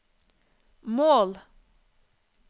mål